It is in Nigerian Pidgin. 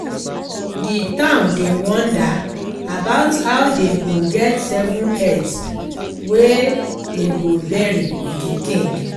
The town dey wonder about how dey go get seven heads wey dey go bury with the king